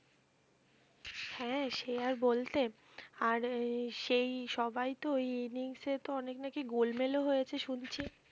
হ্যাঁ সে আর বলতে আর সেই সবাইতো ওই innings এ তো অনেক নাকি গোলমাল ও হয়েছে শুনছি